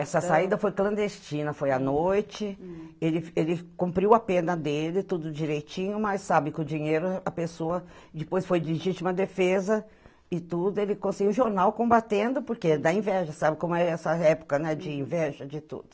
Essa saída foi clandestina, foi à noite, hm, ele ele cumpriu a pena dele, tudo direitinho, mas sabe que o dinheiro, a pessoa depois foi legítima defesa e tudo, ele conseguiu jornal combatendo, porque dá inveja, sabe como é essa época de inveja de tudo.